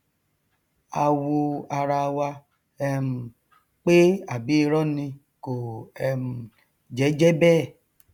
a wo arawa um pé àbí irọ ni kò um jẹ jẹ bẹẹ